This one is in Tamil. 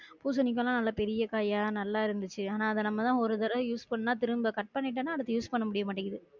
பூசணிக்காலாம் நல்ல பெரிய காயா நல்லா இருந்துச்சி ஆனா அத நம்மலா ஒரு தடவ use பண்ணா திரும்ப cut பண்ணிட்டனா அடுத்த use பண்ண முடியமாட்டிங்குது